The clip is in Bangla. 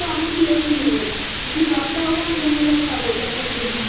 তো আমরা কেউই নেবো না, সেখানে দশটা হোক আর পনেরো টা হোক এক এক জনের